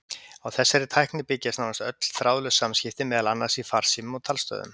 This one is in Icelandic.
Á þessari tækni byggja nánast öll þráðlaus samskipti, meðal annars í farsímum og talstöðvum.